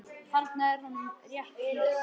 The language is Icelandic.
Þarna er honum rétt lýst.